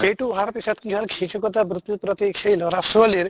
সেইটো অহাৰ পিছত কি হʼল শিক্ষ্কতা বৃত্তিৰ প্ৰতি সেই লʼৰা ছোৱালীৰ